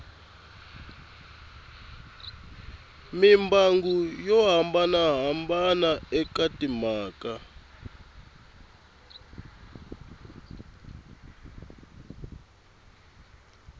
mimbangu yo hambanahambana eka timhaka